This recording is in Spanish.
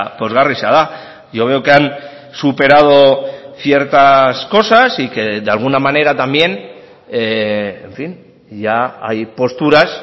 pozgarria da yo veo que han superado ciertas cosas y que de alguna manera también en fin ya hay posturas